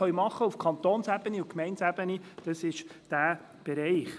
Wo wir auf Kantons- und Gemeindeebene etwas tun können, ist dieser Bereich.